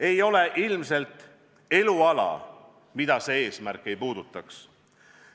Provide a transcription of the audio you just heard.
Ei ole ilmselt eluala, mida see eesmärk ei puudutaks.